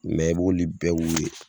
Mɛ i b'olu bɛ k'u ye.